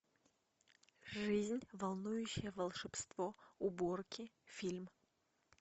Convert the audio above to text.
жизнь волнующее волшебство уборки фильм